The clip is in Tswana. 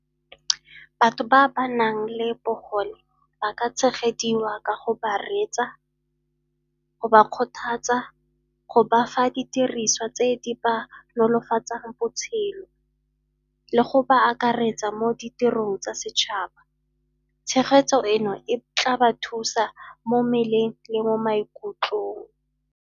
Batho ba ba nang le bogole ba ka tshegediwa ka go ba reetsa, go ba kgothatsa, go bafa didiriswa tse di ba nolofatsang botshelo le go ba akaretsa mo ditirong tsa setšhaba. Tshegetso eno e tla ba thusa mo mmeleng le mo maikutlong.